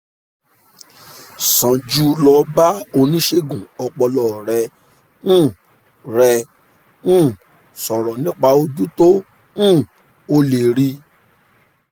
sàn jù lọ bá oníṣègùn ọpọlọ rẹ um rẹ um sọ̀rọ̀ nípa ojú tó um o lè rí